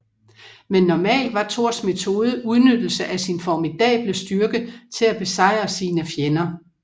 Men normalt var Thors metode udnyttelse af sin formidable styrke til at besejre sine fjender